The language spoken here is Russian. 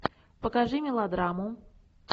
покажи мелодраму